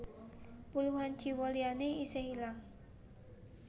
Puluhan jiwa liyané isih ilang